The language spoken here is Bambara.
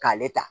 K'ale ta